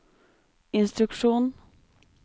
instruksjon